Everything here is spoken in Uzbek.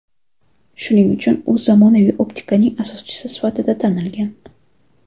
Shuning uchun u zamonaviy optikaning asoschisi sifatida tanilgan.